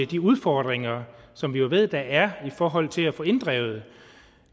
de udfordringer som vi jo ved der er i forhold til at få inddrevet